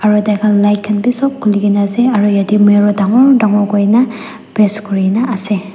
aro taikhan light khan bi sop khuli kae na ase aru yatae mirror dangor dangor kurina paste kurina ase.